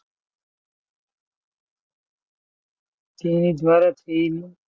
તેણે દ્વારા થયેલું.